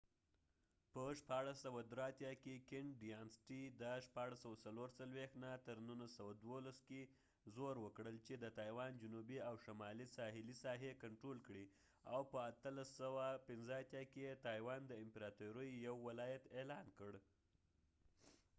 په 1683 کې، کینګ ډیانسټي qing dyanasty د 1644-1912 کې زور وکړل چې د تایوان جنوبي او شمالي ساحلې ساحې کنټرول کړي او په 1885 کې یې تایوان د qing امپراطورۍ یو ولایت اعلان کړل